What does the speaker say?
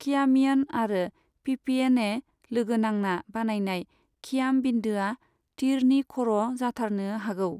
खियामियन आरो पिपिएन ए लोगो नांना बानायनाय खियाम बिन्दोआ तीरनि खर' जाथारनो हागौ।